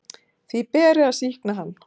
Því beri að sýkna hann.